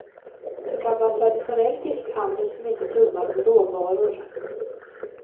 En gammal traditionell fiskhandel som inte tummar på råvaror.